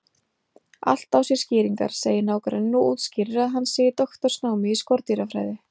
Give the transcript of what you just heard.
Allt á sér skýringar, segir nágranninn og útskýrir að hann sé í doktorsnámi í skordýrafræði.